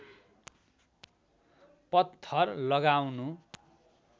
पत्थर लगाउनु